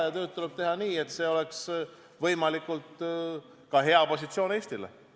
Ja tööd tuleb teha nii, et see oleks võimalikult ka hea positsioon Eestile.